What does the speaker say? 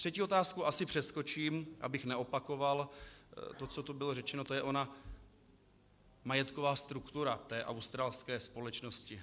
Třetí otázku asi přeskočím, abych neopakoval to, co tu bylo řečeno, to je ona majetková struktura té australské společnosti.